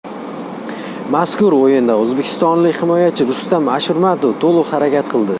Mazkur o‘yinda o‘zbekistonlik himoyachi Rustam Ashurmatov to‘liq harakat qildi.